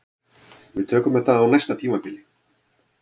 Við tökum þetta á næsta tímabili